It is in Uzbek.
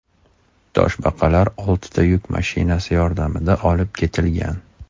Toshbaqalar oltita yuk mashinasi yordamida olib ketilgan.